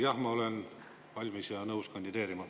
Jah, ma olen valmis ja nõus kandideerima.